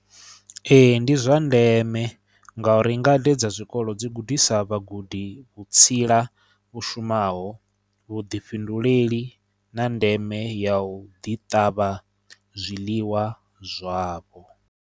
Ee ndi zwa ndeme nga uri ngade dza zwikolo dzi gudisa vhagudi vhutsila vhu shumaho vhuḓifhinduleli na ndeme ya u ḓi ṱavha zwiḽiwa zwavho.